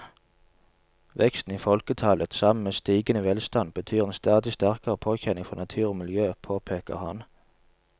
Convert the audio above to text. Veksten i folketallet sammen med stigende velstand betyr en stadig sterkere påkjenning for natur og miljø, påpeker han.